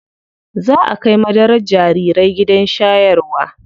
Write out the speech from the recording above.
Zaa a kai madarar jarirai gidan shayarwa.